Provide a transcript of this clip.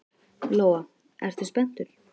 Lóa: Ertu spenntur?